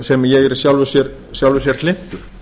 sem ég er í sjálfu sér hlynntur